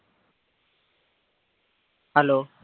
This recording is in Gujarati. hello